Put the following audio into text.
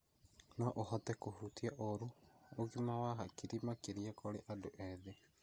No ũhote kũhutia ũru ũgima wa hakiri makĩria kũrĩ andũ ethĩ.